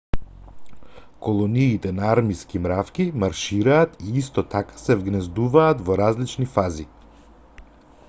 колониите на армиски мравки маршираат и исто така се вгнездуваат во различни фази